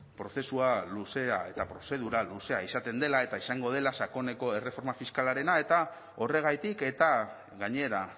prozesua luzea eta prozedura luzea izaten dela eta izango dela sakoneko erreforma fiskalarena eta horregatik eta gainera